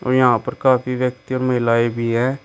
और यहां पर काफी व्यक्ति और महिलाएं भी हैं।